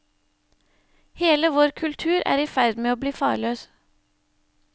Hele vår kultur er i ferd med å bli farløs.